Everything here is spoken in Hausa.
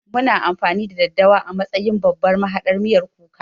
Muna amfani da daddawa a matsayin babban mahaɗar miyan kuka